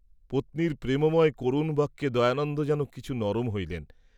পত্নীর প্রেমময় করুণবাক্যে দয়ানন্দ যেন কিছু নরম হইলেন।